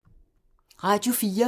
Radio 4